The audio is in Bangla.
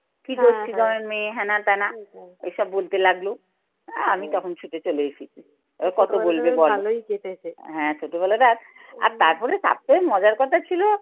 কি করছি তোমার মেয়ে হেনা তেনা এই সব লাগলো। আমি তখন ছুটে চলে এসেছি। এবার কত বলবে বল? হ্যাঁ ছোটবেলাটা আর তারপরে থাকতে হবে মজার কথা ছিল